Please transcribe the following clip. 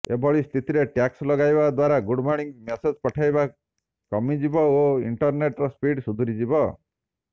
ଏଭଳି ସ୍ଥିତିରେ ଟ୍ୟାକ୍ସ ଲଗାଇବା ଦ୍ୱାରା ଗୁଡ ମର୍ଣ୍ଣିଂ ମେସେଜ ପଠାଇବା କମିଯିବ ଓ ଇଂଟରନେଟର ସ୍ପିଡ ସୁଧୁରିଯିବ